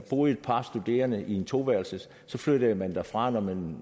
boede et par studerende i en toværelses flyttede man derfra når man